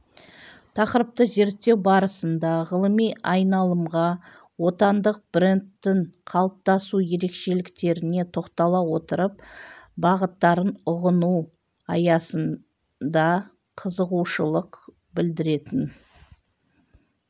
тақырыпты зерттеу барысында ғылыми айналымға отандық брендтің қалыптасу ерекшеліктеріне тоқтала отырып бағыттарын ұғыну аясында қызығушылық білдіретін